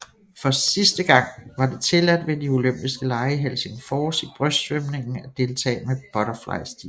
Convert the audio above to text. For sidste gang var det tilladt ved de olympiske lege i Helsingfors i brystsvømningen at deltage med butterflystilen